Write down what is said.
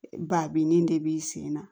Ba binni de b'i sen na